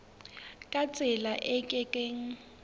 ka tsela e ke keng